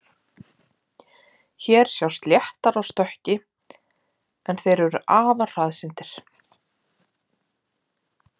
Hér sjást léttar á stökki, en þeir eru afar hraðsyndir.